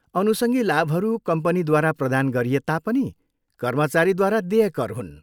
अनुसङ्गी लाभहरू कम्पनीद्वारा प्रदान गरिए तापनि कर्मचारीद्वारा देय कर हुन्।